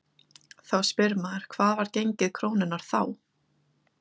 Þá spyr maður hvað var gengið krónunnar þá?